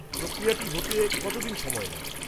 প্রক্রিয়াটা হতে কতদিন সময় নেয়?